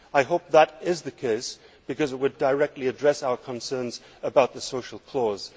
I hope that this is the case because it would directly address our concern about the social clause.